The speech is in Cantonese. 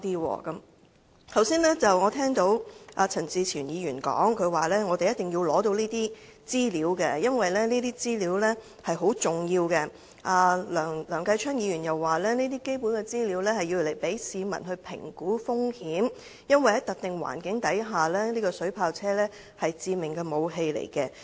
我剛才又聽到陳志全議員說，他們一定要取得有關資料，因為這些資料很重要，梁繼昌議員又表示這些基本資料，可讓市民評估風險，因為在特定環境下，水炮車是致命武器。